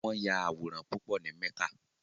Won ya aworan pupo ni Mecca